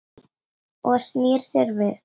Og snýr sér við.